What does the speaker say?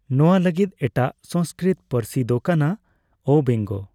ᱱᱚᱣᱟ ᱞᱟᱹᱜᱤᱫ ᱮᱴᱟᱜ ᱥᱚᱝᱥᱠᱨᱤᱛ ᱯᱟᱹᱱᱟᱹᱨᱥᱤ ᱫᱚ ᱠᱟᱱᱟ ᱚᱵᱮᱝᱜᱚ ᱾